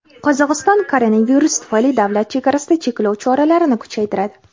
Qozog‘iston koronavirus tufayli davlat chegarasida cheklov choralarini kuchaytiradi.